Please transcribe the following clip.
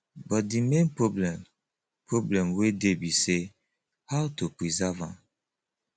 but de main problem problem wey dey be say how to preserve am